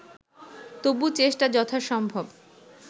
তবু চেষ্টা যথাসম্ভব